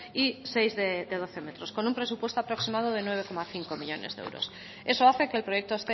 y seis de doce metros con un presupuesto aproximado de nueve coma cinco millónes de euros eso hace que el proyecto